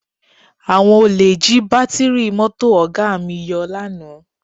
Àwọn olè jí bátíìrì mọ́tò Ọ̀ga mi yọ lánàá